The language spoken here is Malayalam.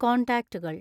കോൺടാക്ടുകൾ